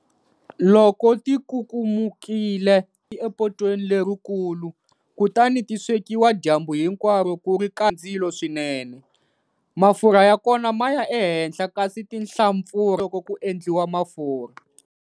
Loko tikukumukile, epotweni lerikulu kutani ti swekiwa dyambu hinkwaro ku ri karhi ndzilo swinene. Mafurha ya kona ma ya ehenhla kasi tinhlampfurha loko ku endliwa mafurha.